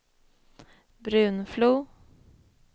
Brunflo